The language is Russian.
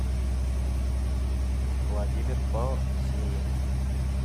владимир посеев